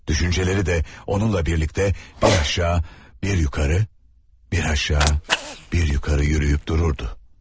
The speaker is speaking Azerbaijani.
Düşüncələri də onunla birlikdə bir aşağı, bir yuxarı, bir aşağı, bir yuxarı yürüyüb dururdu.